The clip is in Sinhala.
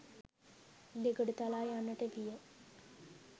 දෙගොඩ තලා යන්නට විය.